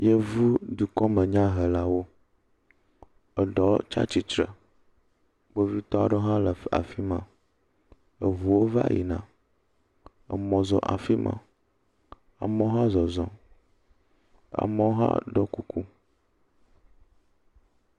Yevudukɔme nyahelawo eɖewo tsi atsitre. Kpovitɔ aɖewo hã le f afi ma. Eŋuwo va yina. Emɔ zɔ afi ma. Amewo hã zɔzɔm. Amewo hã ɖo kuku.